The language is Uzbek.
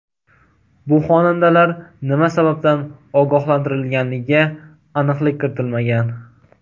Bu xonandalar nima sababdan ogohlantirilganiga aniqlik kiritilmagan.